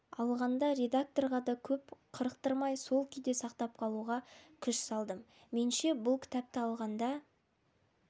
алғанда редакторға да көп қырықтырмай сол күйде сақтап қалуға күш салдым менше бұл кітапты алғанда